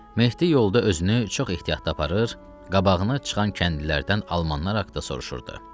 Mehdi yolda özünü çox ehtiyatlı aparır, qabağına çıxan kəndlilərdən almanlar haqqında soruşurdu.